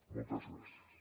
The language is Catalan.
moltes gràcies